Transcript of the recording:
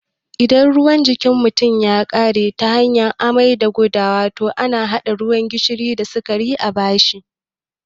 Idan ruwan jikin mutum ya ƙare ta hanyar amai da gudawa, to ana haɗa ruwan gishiri da sikari a bashi